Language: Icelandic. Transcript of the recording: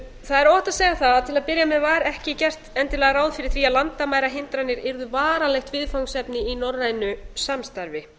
það er óhætt að segja það að til að byrja með var ekki gert endilega ráð fyrir því að landamærahindranir yrðu varanlegt viðfangsefni í norrænu samstarfi